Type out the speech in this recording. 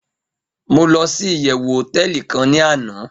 mo losi iyewu hoteeli kan ni ana